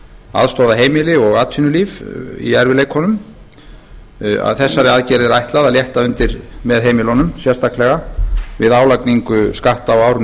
aðstoða heimili og atvinnulíf í erfiðleikunum ætlað að létta undir með heimilunum sérstaklega við álagningu skatta á árinu